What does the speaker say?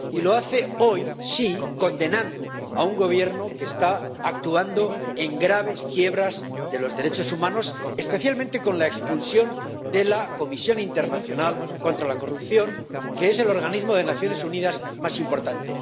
Y lo hace hoy, sí, condenando a un Gobierno que está actuando en graves quiebras de los derechos humanos, especialmente con la expulsión de la Comisión Internacional contra la Impunidad, que es el organismo de las Naciones Unidas más importante.